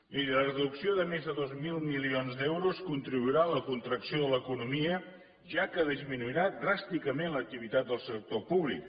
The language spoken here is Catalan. miri la reducció de més de dos mil milions d’euros contribuirà a la contracció de l’economia ja que disminuirà dràsticament l’activitat del sector públic